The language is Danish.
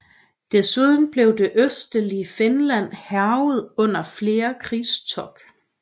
Desuden blev det østlige Finland hærget under flere krigstog